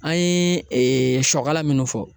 An ye siyɔkala minnu fɔ.